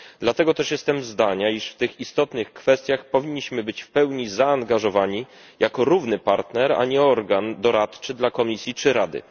Dlatego też jestem zdania, iż w tych istotnych kwestiach powinniśmy być w pełni zaangażowani jako równy partner, a nie organ doradczy dla Komisji czy Rady.